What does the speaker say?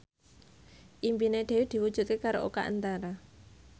impine Dewi diwujudke karo Oka Antara